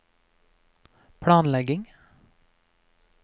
planlegging